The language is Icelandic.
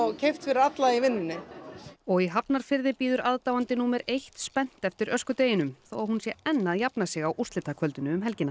keypt fyrir alla í vinnunni og í Hafnarfirði bíður aðdáandi númer eitt spennt eftir öskudeginum þó að hún sé enn að jafna sig á úrslitakvöldinu um helgina